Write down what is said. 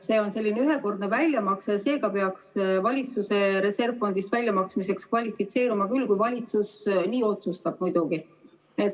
See on selline ühekordne väljamakse ja seega peaks see valitsuse reservfondist väljamaksmiseks kvalifitseeruma küll, kui valitsus nii otsustab.